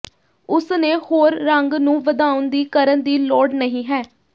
ਉਸ ਨੇ ਹੋਰ ਰੰਗ ਨੂੰ ਵਧਾਉਣ ਦੀ ਕਰਨ ਦੀ ਲੋੜ ਨਹੀ ਹੈ